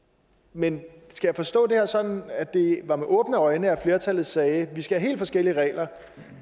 men skal jeg forstå det her sådan at det var med åbne øjne at flertallet sagde vi skal have helt forskellige regler